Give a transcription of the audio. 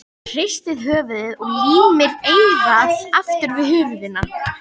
Hristir höfuðið og límir eyrað aftur við hurðina.